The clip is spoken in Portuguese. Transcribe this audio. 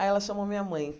Aí, ela chamou a minha mãe.